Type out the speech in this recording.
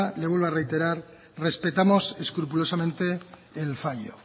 le vuelvo a reiterar que respetamos escrupulosamente el fallo